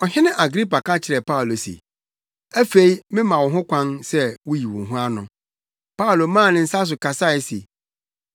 Ɔhene Agripa ka kyerɛɛ Paulo se, “Afei mema wo ho kwan sɛ wuyi wo ho ano.” Paulo maa ne nsa so kasae se,